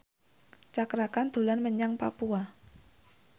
Cakra Khan dolan menyang Papua